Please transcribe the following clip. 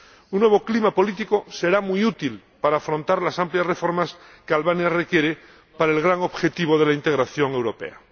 Un nuevo clima político será muy útil para afrontar las amplias reformas que Albania requiere para el gran objetivo de la integración europea.